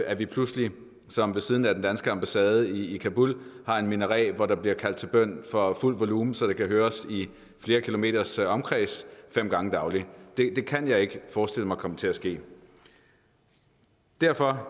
at vi pludselig som ved siden af den danske ambassade i kabul har en minaret hvor der bliver kaldt til bøn for fuld volumen så det kan høres i flere kilometers omkreds fem gange dagligt det kan jeg ikke forestille mig kommer til at ske derfor